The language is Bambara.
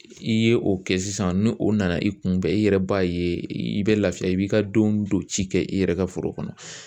I ye o kɛ sisan ni o nana i kunbɛn i yɛrɛ b'a ye i bɛ lafiya i b'i ka don don ci kɛ i yɛrɛ ka foro kɔnɔ